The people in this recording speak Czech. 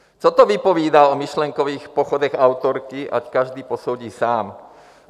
Co to vypovídá o myšlenkových pochodech autorky, ať každý posoudí sám.